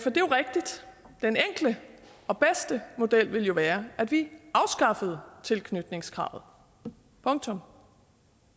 den enkle og bedste model ville være at vi afskaffede tilknytningskravet punktum